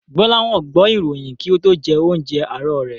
Gbọ́láhàn gbọ́ ìròyìn kí ó tó jẹ oúnjẹ àárọ̀ rẹ̀.